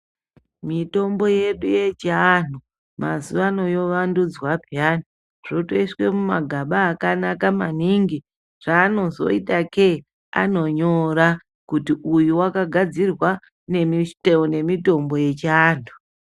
Mitombo yedu yechivanhu mazuvano yovandudzwa peyani zvotoiswa mumagaba akanaka maningi zvaanozoita ke anonyora kuti uyu wakagadzirwa ngemitombo yechiantu .